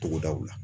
Togodaw la